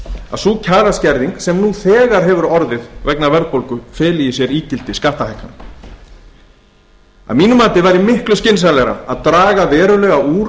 að sú kjaraskerðing sem nú þegar hefur orðið vegna verðbólgu feli í sér ígildi skattahækkana að mínu mati væri miklu skynsamlegra að draga verulega úr